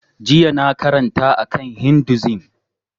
Jiya na karanta a kan hinduism